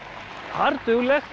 harðduglegt